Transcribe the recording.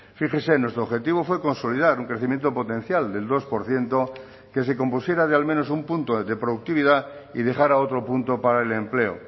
fíjese nuestro objetivo fue consolidar un crecimiento potencial del dos por ciento que se compusiera de al menos un punto de productividad y dejara otro punto para el empleo